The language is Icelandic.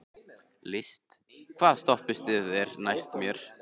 List, hvaða stoppistöð er næst mér?